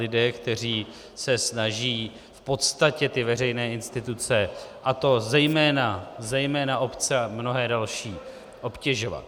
- lidé, kteří se snaží v podstatě ty veřejné instituce, a to zejména obce a mnohé další, obtěžovat.